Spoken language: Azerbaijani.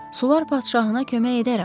Sular padşahına kömək edərəm.